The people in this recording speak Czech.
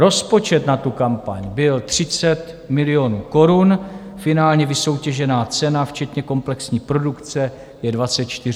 Rozpočet na kampaň byl 30 milionů korun, finálně vysoutěžená cena včetně komplexní produkce je 24,5 milionu korun.